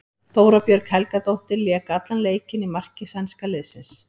Þóra Björg Helgadóttir lék allan leikinn í marki sænska liðsins.